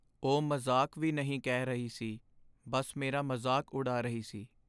ਉਹ ਮਜ਼ਾਕ ਵੀ ਨਹੀਂ ਕਹਿ ਰਹੀ ਸੀ, ਬੱਸ ਮੇਰਾ ਮਜ਼ਾਕ ਉਡਾ ਰਹੀ ਸੀ।